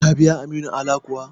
Ka biya Aminu Ala kuwa?